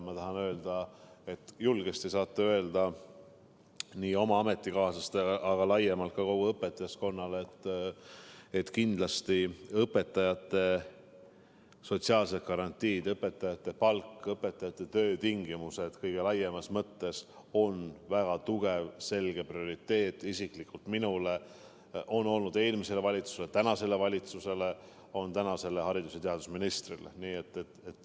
Ma tahan öelda, et te saate julgesti öelda nii oma ametikaaslastele kui ka laiemalt kogu õpetajaskonnale, et kindlasti on õpetajate sotsiaalsed garantiid, nende palk ja töötingimused kõige laiemas mõttes väga tugev, selge prioriteet nii mulle isiklikult kui ka eelmisele valitsusele, praegusele valitsusele ning tänasele haridus- ja teadusministrile.